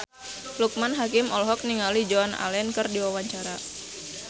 Loekman Hakim olohok ningali Joan Allen keur diwawancara